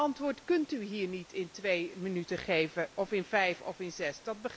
Dat antwoord kunt u hier niet in twee minuten geven noch in vijf of zes.